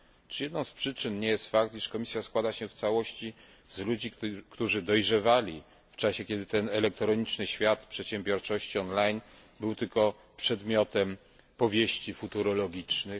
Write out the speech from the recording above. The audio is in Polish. Czy jedną z przyczyn nie jest fakt, iż Komisja składa się w całości z ludzi, którzy dojrzewali w czasie, kiedy ten elektroniczny świat przedsiębiorczości on line był tylko przedmiotem powieści futurologicznych?